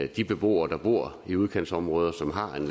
de beboere der bor i udkantsområder som har en